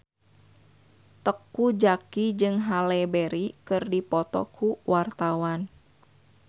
Teuku Zacky jeung Halle Berry keur dipoto ku wartawan